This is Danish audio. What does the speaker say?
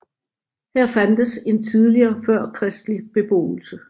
Her fandtes en tidligere førkristelig beboelse